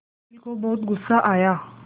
अनिल को बहुत गु़स्सा आया